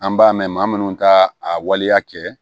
An b'a mɛn maa munnu ka a waleya kɛ